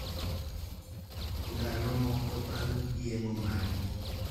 Ndalo moko bang` yeng`o margi,